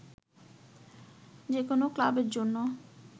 যে কোন ক্লাবের জন্য